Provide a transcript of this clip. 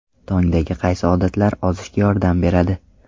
Tongdagi qaysi odatlar ozishga yordam beradi?.